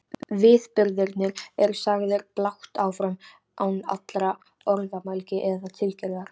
Viðburðirnir eru sagðir blátt áfram án allrar orðamælgi eða tilgerðar.